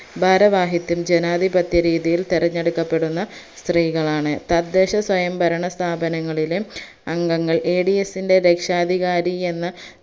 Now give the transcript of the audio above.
ഭാരവാഹിത്വം ജനാതിപത്യ രീതിയിൽ തെരഞ്ഞെടുക്കപ്പെടുന്ന സ്ത്രീകളാണ് തദ്ദേശ സ്വയംഭരണ സ്ഥാപങ്ങളിലെ അംഗങ്ങൾ Ads ന്റെ രക്ഷാധികാരി എന്ന